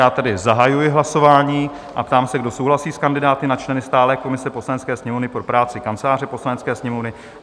Já tedy zahajuji hlasování a ptám se, kdo souhlasí s kandidáty na členy stálé komise Poslanecké sněmovny pro práci Kanceláře Poslanecké sněmovny?